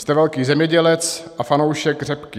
Jste velký zemědělec a fanoušek řepky.